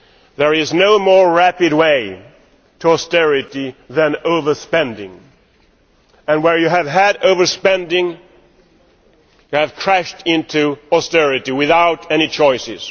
There is no more rapid way to austerity than overspending, and where you have had overspending you have crashed into austerity without any choice.